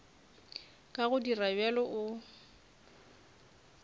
ka go dira bjalo o